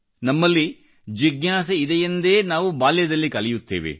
ನಮ್ಮಲ್ಲಿ ಜಿಜ್ಞಾಸೆಯಿದೆಯೆಂದೇ ನಾವು ಬಾಲ್ಯದಲ್ಲಿ ಕಲಿಯುತ್ತೇವೆ